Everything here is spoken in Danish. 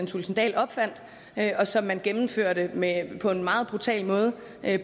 thulesen dahl opfandt og som man gennemførte på en meget brutal måde